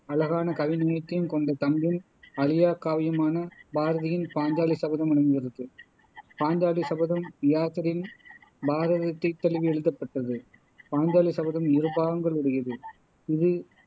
அழகான கவிநயத்தையும் கொண்ட தமிழின் அழியாக் காவியமான பாரதியின் பாஞ்சாலி சபதம் விளங்குகிறது பாஞ்சாலி சபதம் வியாசரின் பாரதத்தை தழுவி எழுதப்பட்டது பாஞ்சாலி சபதம் இரு பாகங்கள் உடையது இது